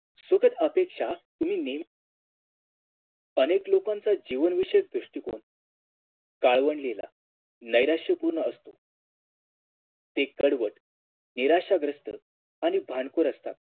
सोबत अपेक्षा तुम्ही नेहमी अनेक लोकांचा जीवनविषयक दृष्टिकोन काळवंडलेला नैराश्यपूर्ण असतो ते कडवट निराशाग्रस्त आणि भांडखोर असतात